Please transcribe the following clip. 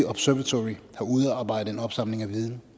observatory har udarbejdet en opsamling af viden